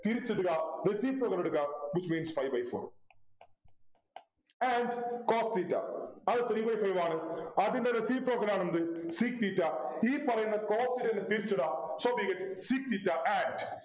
തിരിച്ചിടുക reciprocal എടുക്കുക Which means five by four and cos theta അത് three by five ആണ് അതിൻ്റെ reciprocal ആണ് എന്ത് sec theta ഈ പറയുന്ന cos നെ തിരിച്ചിടുക So we get sec theta and